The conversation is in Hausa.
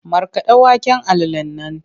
Markaɗa waken alalan nan!